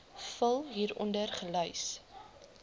vul hieronder gelys